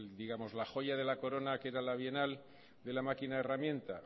la joya de la corona que era la bienal de la máquina herramienta